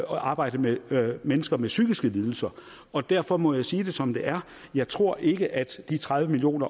arbejdet med mennesker med psykiske lidelser og derfor må jeg sige det som det er jeg tror ikke at de tredive million